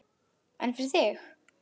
En fyrir þig?